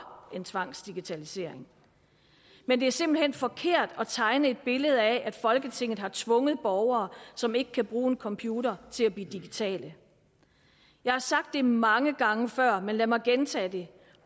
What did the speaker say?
en tvangsdigitalisering men det er simpelt hen forkert at tegne et billede af at folketinget har tvunget borgere som ikke kan bruge en computer til at blive digitale jeg har sagt det mange gange før men lad mig gentage det